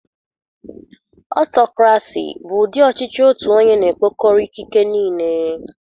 Ọtọcrasi bụ ụdị ọchịchị otu onye na-ekpokọrọ ikike niile.